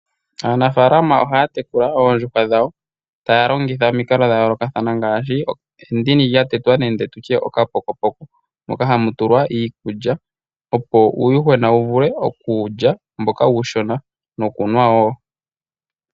Aanafaalama ohaya tekula oondjuhwa dhawo taya longitha omikalo dha yoolokathana ngaashi endini lya tetwa nenge tutye okapokopoko moka hamu tulwa iikulya opo uuyuhwena wu vule okulya mboka uushona nokunwa wo.